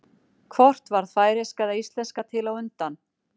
Hvort varð færeyska eða íslenska til á undan?